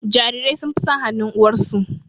Jarirai sun fi son hanun uwarsu